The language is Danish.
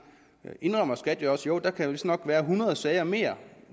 indrømmer skat jo også at der vistnok kan være hundrede sager mere